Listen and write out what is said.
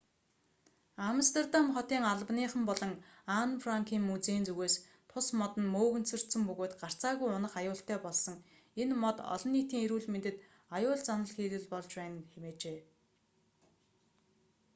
амстердам хотын албаныхан болон анн франкын музейн зүгээс тус мод нь мөөгөнцөртсөн бөгөөд гарцаагүй унах аюултай болсон энэ мод олон нийтийн эрүүл мэндэд аюул заналхийлэл болж байна хэмээжээ